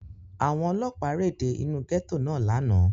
Àwọn Ọlọ́pàá réde inú gẹ́tò náà lánàá.